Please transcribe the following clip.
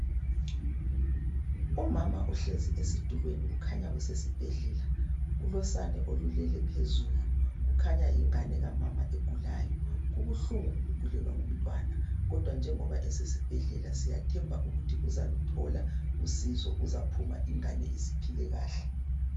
Umama uhlezi esitulweni kukhanya kusesibhedlela kulosane olulele phezulu kukhanya yingane kamama ogulayo. Kubuhlungu ukugulelwa ngumntwana kodwa njengoba esesibhedlela siyathemba ukuthi uzaluthola usizo uzaphuma ingane isiphile kahle.